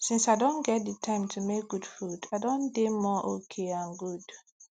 since i don get the time to make good food i don dey more okay and good